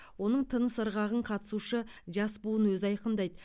оның тыныс ырғағын қатысушы жас буын өзі айқындайды